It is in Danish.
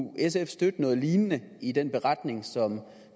sf støtte noget lignende i den beretning som